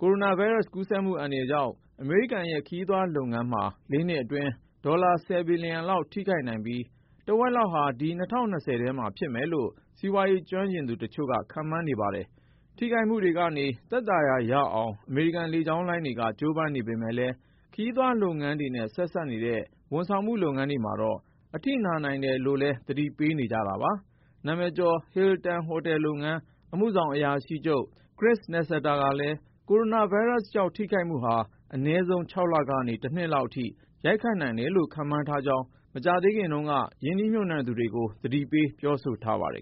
ကိုရိုနာဗိုင်းရပ်စ် ကူးစက်မှုအန္တရာယ်ကြောင့် အမေရိကန်ရဲ့ခရီးသွားလုပ်ငန်းမှာ ၄ နှစ်အတွင်း ဒေါ်လာ ဘီလျံလောက် ထိခိုက်နိုင်ပြီး တဝက်လောက်ဟာ ဒီနှစ် ၂၀၂၀ ထဲမှာဖြစ်မယ်လို့ စီးပွားရေး ကျွမ်းကျင်သူတချို့က ခန့်မှန်းနေကြပါတယ်။ ထိခိုက်မှုတွေကနေ သက်သာရာ ရအောင် အမေရိကန်လေကြောင်းလိုင်းတွေက ကြိုးပမ်းနေကြပေမဲ့လည်း ခရီးသွားလုပ်ငန်းတွေနဲ့ ဆက်နွှယ်နေတဲ့ ဝန်ဆောင်မှုလုပ်ငန်းတွေ မှာတော့ အထိနာနိုင်တယ်လို့လည်း သတိပေးနေကြတာပါ။ နာမည်ကျော် Hilton ဟိုတယ်လုပ်ငန်း အမှုဆောင်အရာရှိချုပ် Chris Nassetta ကလည်း ကိုရိုနာဗိုင်းရပ်စ်ကြောင့် ထိခိုက်မှုဟာ အနည်းဆုံး ၆ လကနေ တနှစ်လောက်အထိ ရိုက်ခတ်နိုင်တယ်လို့ ခန့်မှန်းထားကြောင်း မကြာသေးခင်တုန်းကပဲ ရင်းနှီးမြှုပ်နှံသူတွေကို သတိပေး ပြောဆိုထားပါတယ်